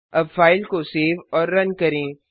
अब फाइल को सेव और रन करें